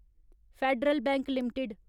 federal Bank limited